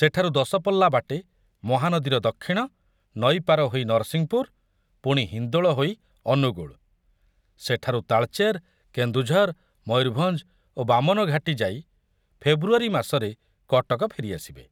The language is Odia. ସେଠାରୁ ଦଶପଲ୍ଲା ବାଟେ ମହାନଦୀର ଦକ୍ଷିଣ, ନଈ ପାରି ହୋଇ ନରସିଂହପୁର, ପୁଣି ହିନ୍ଦୋଳ ହୋଇ ଅନୁଗୁଳ, ସେଠାରୁ ତାଳଚେର, କେନ୍ଦୁଝର, ମୟୂରଭଞ୍ଜ ଓ ବାମନ ଘାଟି ଯାଇ ଫେବ୍ରୁଆରୀ ମାସରେ କଟକ ଫେରିଆସିବେ।